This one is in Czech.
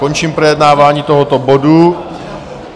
Končím projednávání tohoto bodu.